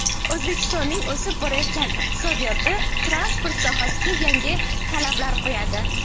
O‘zbekistonning o‘sib borayotgan iqtisodiyoti transport sohasiga yangi talablar qo‘yadi.